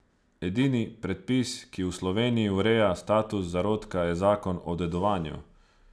Edini predpis, ki v Sloveniji ureja status zarodka, je zakon o dedovanju.